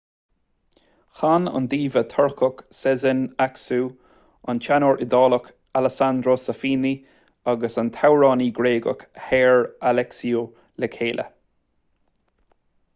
chan an diva turcach sezen aksu an teanór iodálach alessandro safina agus an t-amhránaí gréagach hair alexiou le chéile